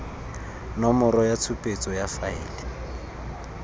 nomoro ya tshupetso ya faele